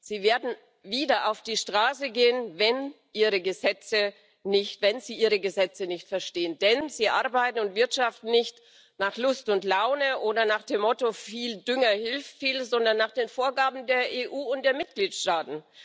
Sie werden wieder auf die Straße gehen, wenn sie Ihre Gesetze nicht verstehen, denn sie arbeiten und wirtschaften nicht nach Lust und Laune oder nach dem Motto Viel Dünger hilft viel, sondern nach den Vorgaben der EU und der Mitgliedstaaten.